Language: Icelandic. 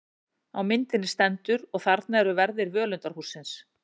Á myndinni stendur: Og þarna eru verðir völundarhússins.